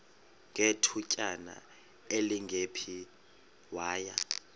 ngethutyana elingephi waya